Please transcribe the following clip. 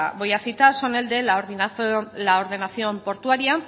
voy a citar son el de la ordenación portuaria